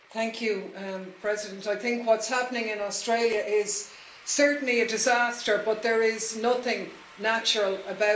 Madam President, I think what's happening in Australia is certainly a disaster, but there is nothing natural about it.